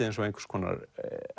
eins og einhvers konar